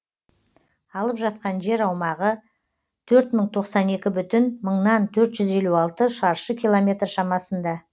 алып жатқан жер аумағы төрт мың тоқсан екі бүтін мыңнан төрт жүз елу алты шаршы километр шамасында